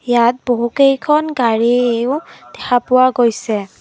ইয়াত বহুকেইখন গাড়ীও দেখা পোৱা গৈছে।